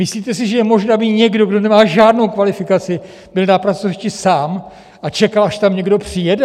Myslíte si, že je možné, aby někdo, kdo nemá žádnou kvalifikaci, byl na pracovišti sám a čekal, až tam někdo přijede?